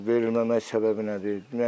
Bu verilməmək səbəbi nədir?